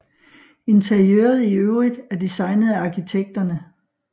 Interiøret i øvrigt er designet af arkitekterne